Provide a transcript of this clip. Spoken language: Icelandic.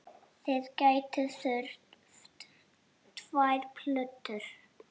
Þið gætuð þurft tvær plötur.